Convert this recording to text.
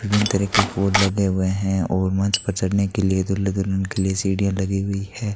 विभिन्न तरह के फूल लदे हुए है और मंच पर चढ़ने के लिए दूल्हा दुल्हन के लिए सीढ़ियां लगी हुई है।